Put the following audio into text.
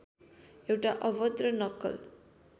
एउटा अभद्र नक्कल